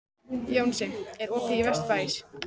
Jónsi, er opið í Vesturbæjarís?